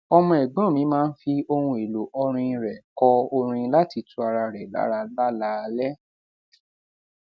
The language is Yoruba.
ọmọ ègbón mi máa ń fi ohun èlò ọrin rè kọ orin lati tu ara re lara lálaalé